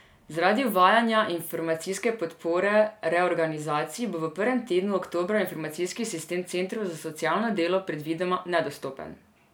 Zaradi uvajanja informacijske podpore reorganizaciji bo v prvem tednu oktobra informacijski sistem centrov za socialno delo predvidoma nedostopen.